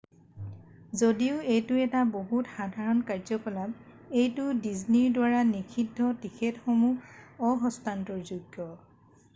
যদিও এইটো এটা বহুত সাধাৰণ কাৰ্যকলাপ এইটো ডিজনীৰ দ্বাৰা নিষিদ্ধ টিকেটসমূহ অ-হস্তান্তৰযোগ্য